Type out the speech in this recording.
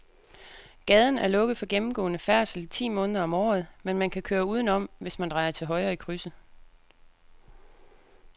Gaden er lukket for gennemgående færdsel ti måneder om året, men man kan køre udenom, hvis man drejer til højre i krydset.